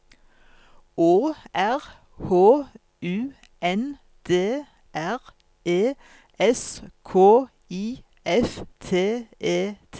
Å R H U N D R E S K I F T E T